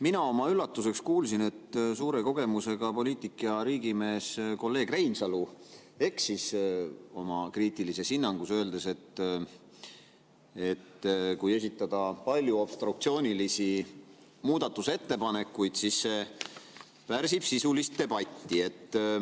Mina oma üllatuseks kuulsin, et suurte kogemustega poliitik ja riigimees kolleeg Reinsalu eksis oma kriitilises hinnangus, öeldes, et kui esitada palju obstruktsioonilisi muudatusettepanekuid, siis see pärsib sisulist debatti.